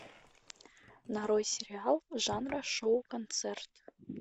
нарой сериал жанра шоу концерт